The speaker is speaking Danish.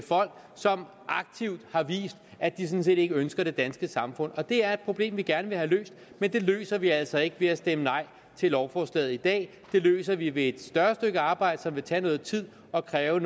folk som aktivt har vist at de sådan set ikke ønsker det danske samfund det er et problem vi gerne vil have løst men det løser vi altså ikke ved at stemme nej til lovforslaget i dag det løser vi ved et større stykke arbejde som vil tage noget tid og kræve